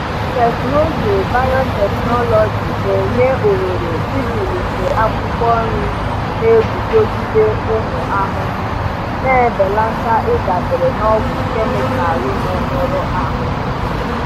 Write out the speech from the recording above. Teknụzụ biotechnology na-enye ohere ịzụlite akwụkwọ nri na-eguzogide ụmụ ahụhụ, na-ebelata ịdabere na ọgwụ kemịkalụ na-emerụ ahụ.